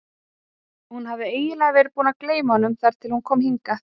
Hún hafði eiginlega verið búin að gleyma honum þar til hún kom hingað.